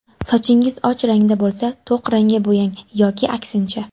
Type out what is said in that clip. Sochingiz och rangda bo‘lsa, to‘q rangga bo‘yang yoki aksincha.